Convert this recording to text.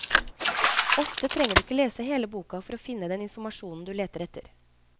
Ofte trenger du ikke lese hele boka for å finne den informasjonen du leter etter.